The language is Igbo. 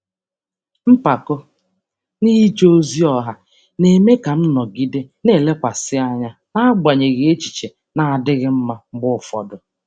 Mpako n'ije ozi ọha na-eme ka m nọgide na-elekwasị anya n'agbanyeghị echiche na-adịghị mma mgbe ụfọdụ.